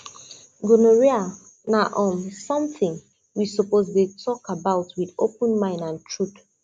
gonorrhea na um something we suppose dey talk about with open mind and truth